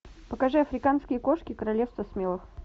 покажи африканские кошки королевство смелых